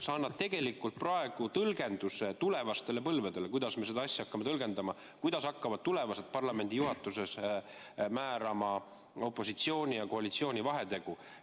Sa annad tegelikult praegu tõlgenduse tulevastele põlvedele, kuidas me seda asja hakkame tõlgendama, kuidas hakkavad tulevased parlamendijuhatused määrama opositsiooni ja koalitsiooni vahetegu.